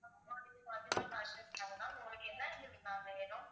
ஆமா இது பாத்திமா ஃபேஷன் உங்களுக்கு என்ன வேணும்